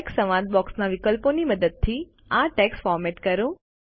text સંવાદ બોક્સના વિકલ્પોની મદદથી આ ટેક્સ્ટ ફોર્મેટ કરો